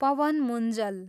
Pawan Munjal